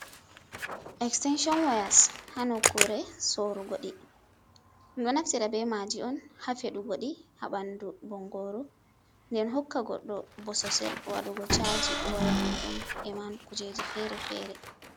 Extenshon wayas ha nokkure sorrugo ɗi ɗo naftira be maaji on ha feɗugo di ha ɓandu bongoruu den hokka goddo bososel waɗugo chaji waya muɗuum e ma kujeji fere-fere.